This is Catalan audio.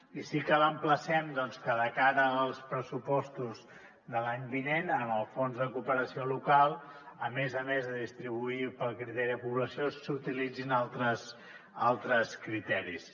i si cal emplacem doncs que de cara als pressupostos de l’any vinent en el fons de cooperació local a més a més de distribuir pel criteri de població s’utilitzin altres criteris